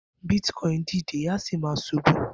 Bitcoin dìde a sì máa ṣubu